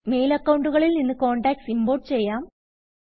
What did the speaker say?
mail അക്കൌണ്ടുകളിൽ നിന്ന് contacts import ചെയ്യാം